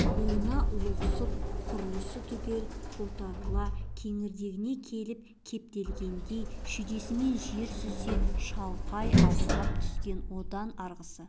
буына лоқсып құрлысы түгел қотарыла кеңірдегіне келіп кептелгендей шүйдесімен жер сүзе шалқалай аунап түскен одан арғысы